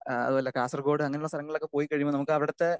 speaker 2 അതുപോലെ കാസർഗോഡ് അങ്ങനെയുള്ള സ്ഥലങ്ങളിൽ പോയിക്കഴിയുമ്പോൾ അവിടുത്തെ